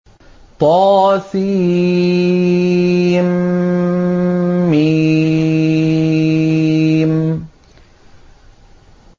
طسم